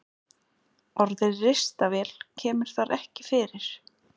Orðið ristavél kemur þar ekki fyrir.